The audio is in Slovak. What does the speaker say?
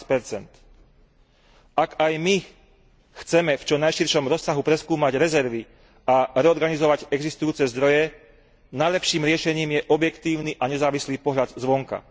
15 Ak aj my chceme v čo najširšom rozsahu preskúmať rezervy a reorganizovať existujúce zdroje, najlepším riešením je objektívny a nezávislý pohľad zvonka.